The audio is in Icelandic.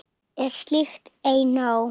Er slíkt ei nóg?